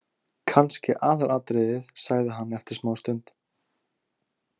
Kannski aðalatriðið, sagði hann eftir smástund.